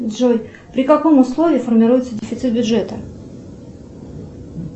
джой при каком условии формируется дефицит бюджета